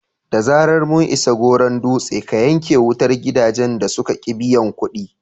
Da zarar mun isa Goron Dutse, ka yanke wutar gidajen da suka ƙi biyan kuɗi!"